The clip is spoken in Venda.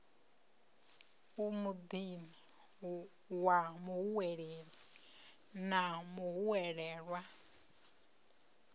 muḓini wa muhweleli na muhwelelwa